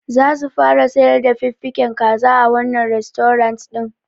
Zasu fara sayar da fiffigen kaza a wannan rastorant ɗin.